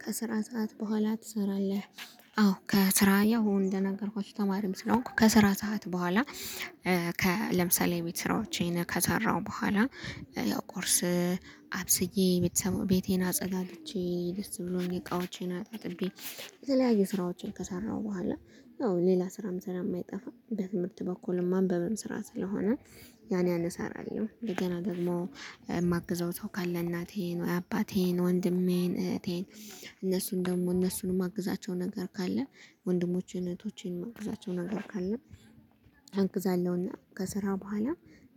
ከስራ ሰዓት በኋላ ትሰራለህ? አዎ ከስራ ያው እንደነገርኳችሁ ተማሪም ስለሆንኩ ከስራ ሰዓት በኋላ ከለምሳሌ ቤት ስራዎቼን ከሰራሁ በኋላ። ያው ቁርስ አብስዬ ቤቴን አጸዳድቼ ደስ ብሎኝ እቃዎቼን አጣጥቤ የተለያዩ ስራዎችን ከሰራሁ በኋላ አዎ ሌላ ስራም ስለ ማይጠፋ በትምህርት በኩልም ማንበብም ስራ ስለሆነ። ያን ያን አሰራለሁ እንደገና ደግሞ የማግዘው ሰው ካለ እናቴን ወይ አባቴን ወንድሜን እህቴን። እነሱን ደግሞ እነሱንም አግዛቸው ነገር ካለ ወንድሞቼን እህቶቼንም አግዛቸው ነገር ካለ። አግዛለሁና ከስራ በኋላ